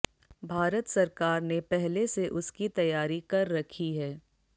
भारत सरकार ने पहले से उसकी तैयारी कर रखी है